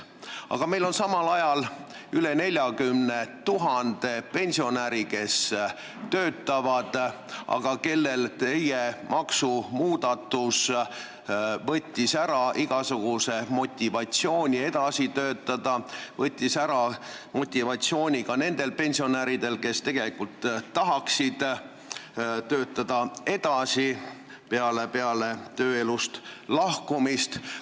Aga meil on samal ajal üle 40 000 pensionäri, kes töötavad, aga kellelt teie maksumuudatus võttis ära igasuguse motivatsiooni edasi töötada, see võttis ära motivatsiooni ka nendelt tulevastelt pensionäridelt, kes tegelikult oleksid tahtnud peale pensioniea saabumist edasi töötada.